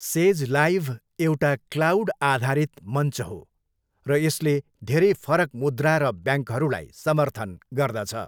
Says Live एउटा cloud आधारित मञ्च हो, र यसले धेरै फरक मुद्रा र ब्याङ्कहरूलाई समर्थन गर्दछ।